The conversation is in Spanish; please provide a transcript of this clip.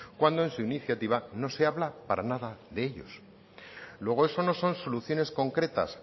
cuando en su iniciativa no se habla para nada de ellos luego eso no son soluciones concretas